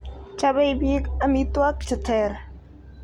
Chobei biik amitwokik che ter.